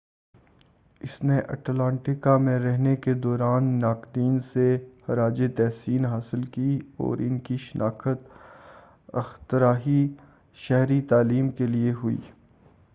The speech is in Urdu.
اس نے اٹلانٹا میں رہنے کے دوران ناقدین سے خراج تحسین حاصل کی اور ان کی شناخت اختراعی شہری تعلیم کے لئے ہوئی